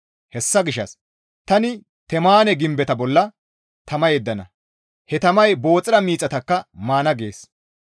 Hessa gishshas tani Temaane gimbeta bolla tama yeddana; he tamay Booxira miixataka maana» gees.